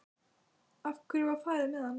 Af hverju var farið með hana?